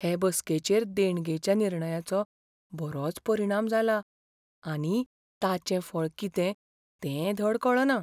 हे बसकेचेर देणगेच्या निर्णयाचो बरोच परिणाम जाला आनी ताचें फळ कितें तें धड कळना.